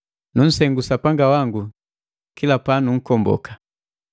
Nunsengu Sapanga wangu kila panunkomboka,